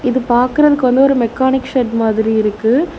இது பாக்கறதுக்கு வந்து ஒரு மெக்கானிக் ஷெட் மாதிரி இருக்கு.